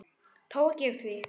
Tók ég því?